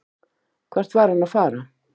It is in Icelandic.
Hvert var hann að fara?